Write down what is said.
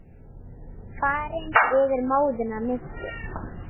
Farin yfir móðuna miklu.